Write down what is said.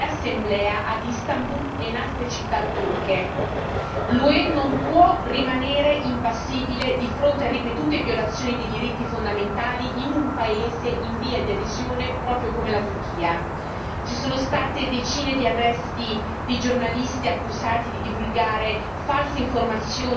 L'UE non può rimanere impassibile di fronte a ripetute violazioni di diritti fondamentali in un paese in via di adesione proprio come la Turchia ci sono state decine di arresti di giornalisti accusati di divulgare false informazioni riguardanti le manifestazioni di piazza contro il governo